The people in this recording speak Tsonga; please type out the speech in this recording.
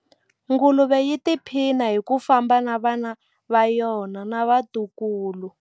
Nguluve yi tiphina hi ku famba na vana va yona na vatukulu.